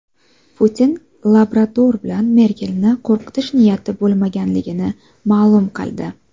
Putin labrador bilan Merkelni qo‘rqitish niyati bo‘lmaganligini ma’lum qildi.